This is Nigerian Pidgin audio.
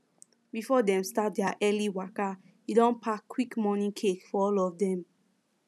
before dem start their early waka e don pack quick morning cake for all of dem